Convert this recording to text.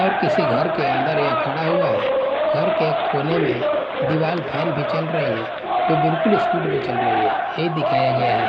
और किसी घर के अंदर यह खड़ा हुआ है घर के कोने में दीवाल फैन भी चल रही है जो बिल्कुल स्पीड में चल रही है ये दिखाया गया है।